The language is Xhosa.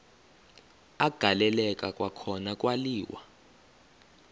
agaleleka kwakhona kwaliwa